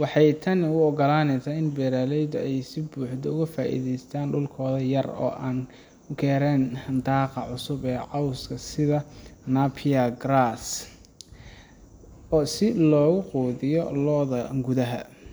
waxey tan uogalaneysa in beraaleyda ey sibuxda ugafaaidheystaan dulkooda yar oo aan garen daaqa cusub ee coska sida Napier Grass oo si looguqudhiya looda gudaha.